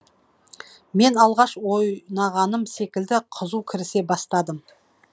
мен алғаш ойнағаным секілді қызу кірісе бастадым